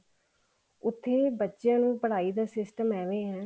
ਉੱਥੇ ਬੱਚਿਆਂ ਨੂੰ ਪੜਾਈ ਦਾ system ਏਵੇਂ ਹੈ